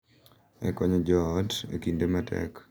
E konyo jo ot e kinde matek.